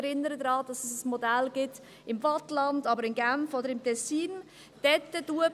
Ich erinnere daran, dass es im Waadtland, in Genf oder im Tessin Modelle gibt.